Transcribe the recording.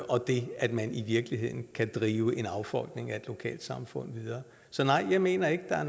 og det at man i virkeligheden kan drive en affolkning af et lokalsamfund videre så nej jeg mener ikke der er